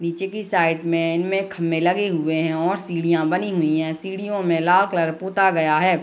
पीछे के साइड मैं एन्ड मैं खम्भे लगे हुए हैं और सीढिया बनी हुई हैं | सीढ़ियों मैं लाल कलर पोता गया है |